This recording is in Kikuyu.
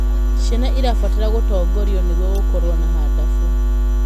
Ciana irabatara gutongorio nĩguo gũkorwo na hadabu